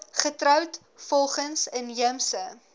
getroud volgens inheemse